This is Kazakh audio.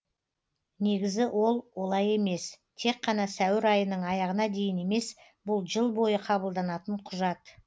негізі ол олай емес тек қана сәуір айының аяғына дейін емес бұл жыл бойы қабылданатын құжат